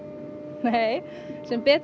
nei sem betur